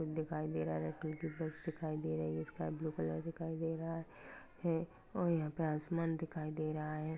दिखाई दे रहा है यह टूटी बस दिखाई दे रही है स्काई ब्लू कलर दिखाई दे रहा है और यहाँ पे आसमान दिखाई दे रहा है।